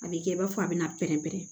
A bɛ kɛ i b'a fɔ a bɛna pɛrɛn-pɛrɛn